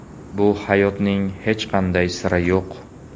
Bu hayotning hech qanday siri yo‘q.